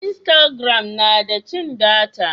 instagram na da cin data